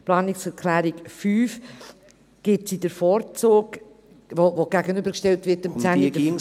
Der Planungserklärung 5, welche der Planungserklärung 10 gegenübergestellt wird, gibt sie den Vorzug.